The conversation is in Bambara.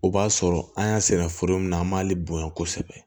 O b'a sɔrɔ an y'a sɛnɛ foro min na an b'ale bonya kosɛbɛ